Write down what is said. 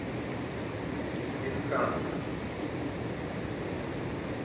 инканто